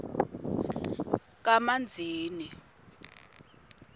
kamanzini